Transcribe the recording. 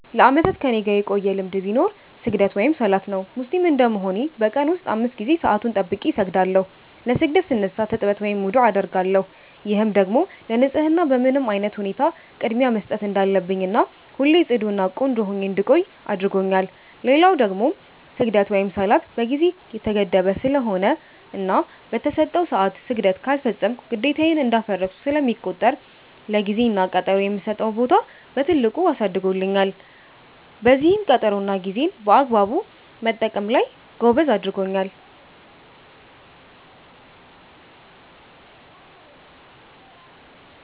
ለአመታት ከኔጋ የቆየ ልማድ ቢኖር ስግደት(ሰላት) ነው። ሙስሊም እንደመሆኔ በ ቀን ውስጥ 5 ጊዜ ሰአቱን ጠብቄ እሰግዳለው። ለ ስግደት ስነሳ ትጥበት(ውዱዕ) አደርጋለው፤ ይህም ደግሞ ለ ንፀህና በምንም አይነት ሁኔታ ቅድሚያ መስጠት እንዳለብኝና ሁሌ ፅዱ እና ቆንጆ ሁኜ እንድቆይ አድርጎኛል። ሌላው ደግሞ ስግደት(ሰላት) በ ጊዜ የተገደበ ስለሆነና በ ተሰጠው ሰዐት ስግደት ካልፈፀምኩ ግዴታዬን እንዳፈረስኩ ስለሚቆጠር ለ ጊዜ እና ቀጠሮ የምሰጠውን ቦታ በትልቁ አሳድጎልኛል፤ በዚህም ቀጠሮ እና ጌዜን በአግባቡ መጠቀም ላይ ጎበዝ አድርጎኛል።